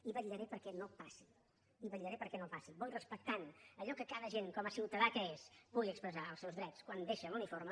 i vetllaré perquè no passi i vetllaré perquè no passi bo i respectant allò que cada agent com a ciutadà que és pugui expressar els seus drets quan deixa l’uniforme